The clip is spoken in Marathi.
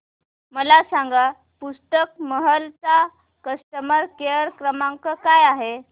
मला सांगा पुस्तक महल चा कस्टमर केअर क्रमांक काय आहे